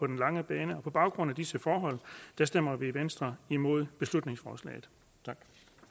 den lange bane på baggrund af disse forhold stemmer vi i venstre imod beslutningsforslaget tak